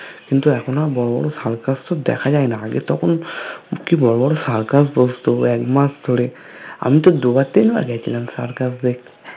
কিন্তু এখন আর বড়ো বড়ো circus তো দেখা যায় না আগে তখন কি বড়ো বড়ো circus বস্তু এক মাস ধোরে আমি তো দুবার তিনবার গিয়েছিলাম circus দেখতে